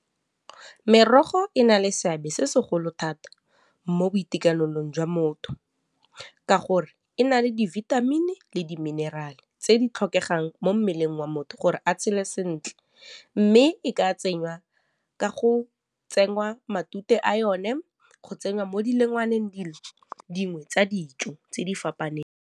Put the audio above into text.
Merogo e na le seabe se segolo thata mo boitekanelong jwa motho ka gore e na le di-vitamin-i le di-mineral-e tse di tlhokegang mo mmeleng wa motho gore a tshele sentle mme e ka tsengwa ka go tsenngwa matute a yone go tsenngwa mo dilongwaneng dilo dingwe tsa dijo tse di fapaneng.